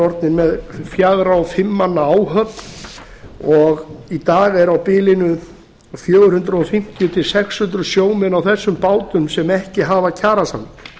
orðnir með fjögurra og fimm manna áhöfn í dag eru á bilinu fjögur hundruð fimmtíu til sex hundruð sjómenn á þessum bátum sem ekki hafa kjarasamning